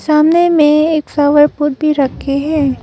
सामने में एक प्लॉवर पॉट भी रखे हैं।